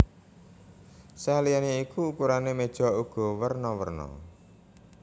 Saliyané iku ukurané méja uga werna werna